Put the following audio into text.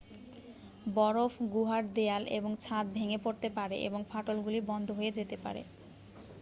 বরফ গুহার দেয়াল এবং ছাদ ভেঙে পড়তে পারে এবং ফাটলগুলো বন্ধ হয়ে যেতে পারে